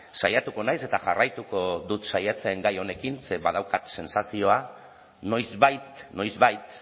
saiatuko naiz eta jarraituko dut saiatzen gai honekin ze badaukat sentsazioa noizbait noizbait